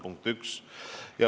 Punkt üks.